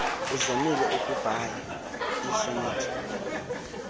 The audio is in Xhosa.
uzamile ukubhaia iisonethi